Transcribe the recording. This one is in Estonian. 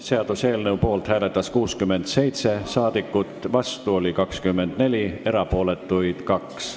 Hääletustulemused Poolt hääletas 67 rahvasaadikut, vastu oli 24, erapooletuks jäi 2.